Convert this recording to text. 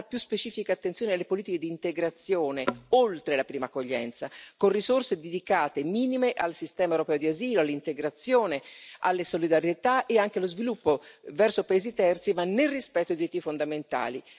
Viene data più specifica attenzione alle politiche di integrazione oltre alla prima accoglienza, con risorse dedicate minime al sistema europeo di asilo, all'integrazione, alla solidarietà e anche allo sviluppo verso i paesi terzi, ma nel rispetto dei diritti fondamentali.